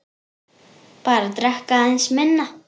Bara drekka aðeins minna.